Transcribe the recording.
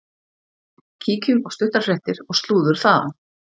Kíkjum á stuttar fréttir og slúður þaðan.